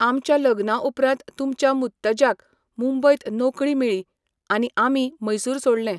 आमच्या लग्ना उपरांत तुमच्या मुत्तज्याक मुंबयत नोकरी मेळ्ळी आनी आमी मैसूर सोडलें.